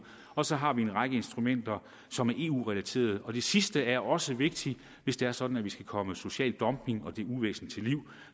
og så har vi en række instrumenter som er eu relaterede og det sidste er også vigtigt hvis det er sådan at vi skal komme social dumping og det uvæsen til livs